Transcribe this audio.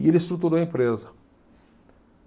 E ele estruturou a empresa.